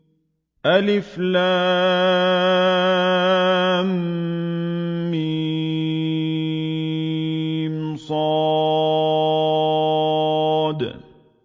المص